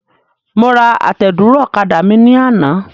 Mo ra àtẹ̀dúró ọ̀kadà mi ní àná.